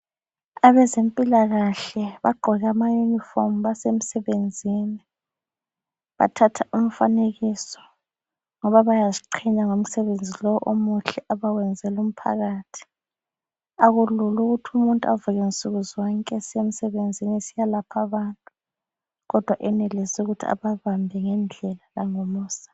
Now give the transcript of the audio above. Abempilakahle bagqoke amayunifomu basemsebenzini. Bathatha umfanekiso ngoba bayaziqhenya ngomsebenzi lo omuhle abawenzela umphakathi. Akulula ukuthi umuntu avuke Nsukuzonke esiyemsebenzini esiyalapha abantu kodwa enelise ukuthi ababambe ngendlela langomusa.